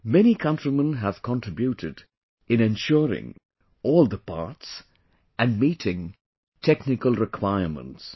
Many countrymen have contributed in ensuring all the parts and meeting technical requirements